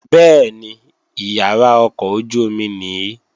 Bẹ́ẹ̀ni, ìyàrá ọkọ̀ ojú-omi nìí